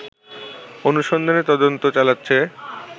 অনুসন্ধানে তদন্ত চালাচ্ছে